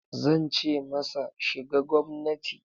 Zan ce masa, shiga gwamnati!